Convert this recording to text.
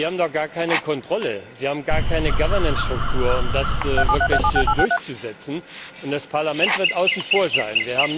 Sie haben doch gar keine Kontrolle, sie haben gar keine Governance Struktur, um das wirklich durchzusetzen. Und das Parlament wird außen vor sein.